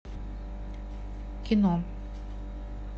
кино